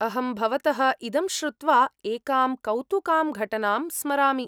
अहं भवतः इदं श्रुत्वा एकां कौतुकां घटनां स्मरामि।